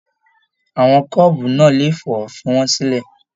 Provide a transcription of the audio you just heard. Àwọn kọ́ọ́bú náà lè fọ, fí wọn sílẹ!